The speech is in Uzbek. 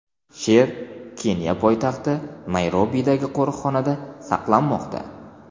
Sher Keniya poytaxti Nayrobidagi qo‘riqxonada saqlanmoqda.